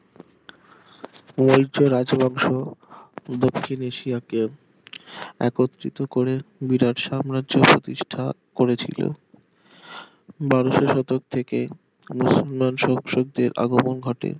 রাজ্যের অংশ ও দক্ষিণ এশিয়াকে একত্রিত করে বিরাট সাম্রাজ্য প্রতিষ্ঠা করেছিল বারশো শতক থেকে মুসলমান সবসুদদের আগমণ ঘটে